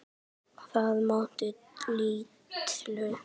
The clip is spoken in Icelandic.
Þessi málverk eigast við sjálf.